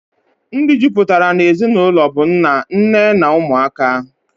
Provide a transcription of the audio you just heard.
Ndi jụpụtara na-ezinaụlọ bụ nna, nne na ụmụaka